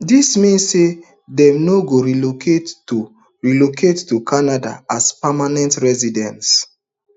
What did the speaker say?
dis mean say dem no go relocate to relocate to canada as permanent residents